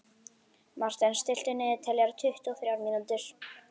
Marten, stilltu niðurteljara á tuttugu og þrjár mínútur.